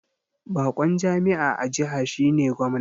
Bakon jami'a a jiha shine Gwamna